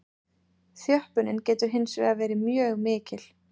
Þjöppunin getur hins vegar verið mjög mikil.